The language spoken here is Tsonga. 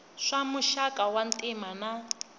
swa muxaka wa ntima na